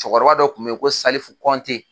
Cɛkɔrɔba dɔ kun bɛ yen ko salifu kɔnte